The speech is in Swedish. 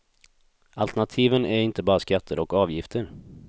Alternativen är inte bara skatter och avgifter.